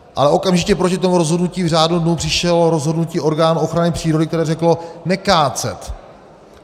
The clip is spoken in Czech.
Ale okamžitě proti tomu rozhodnutí v řádu dnů přišlo rozhodnutí orgánu ochrany přírody, které řeklo - nekácet.